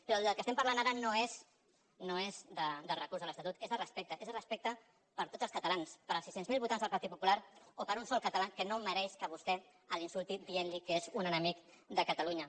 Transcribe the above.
però del que estem parlant ara no és del recurs de l’estatut és de respecte és de respecte per tots els catalans pels sis cents miler votants del partit popular o per un sol català que no mereix que vostè l’insulti dient li que és un enemic de catalunya